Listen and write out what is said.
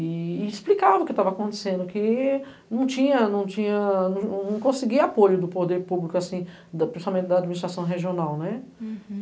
E explicava o que tava acontecendo, que não tinha, não tinha, não conseguia apoio do poder público, assim, principalmente da administração regional, né?